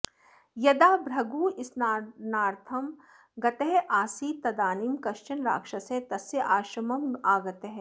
यदा भृगुः स्नानार्थं गतः आसीत् तदानीं कश्चन राक्षसः तस्याश्रमम् आगतः